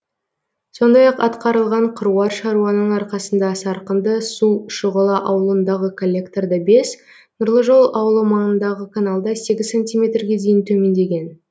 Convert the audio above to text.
сондай ақ атқарылған қыруар шаруаның арқасында сарқынды су шұғыла ауылындағы коллекторда бес нұрлы жол ауылы маңындағы каналда сегіз сантиметрге дейін төмендеген